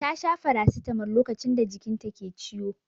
Ta sha farasitamol lokacin da jikin ta ke ciwo.